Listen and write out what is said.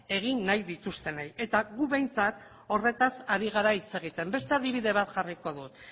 egin nahi dituztenei eta gu behintzat horretaz ari gara hitz egiten beste adibide bat jarriko dut